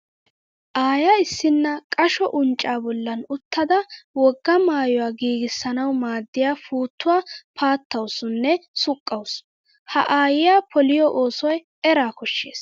Aaya issinna qasho unccaa bollan uttada wogaa maayuwa giigissanawu maaddiya puuttuwa paattawusu nne suqqawusu. Ha aayyiya poliyo oosoy eraa koshshees.